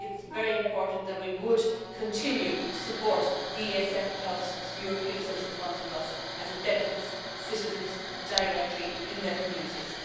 I think it's very important that we would continue to support the ESF, the European Social Fund Plus, as it benefits citizens directly in their communities.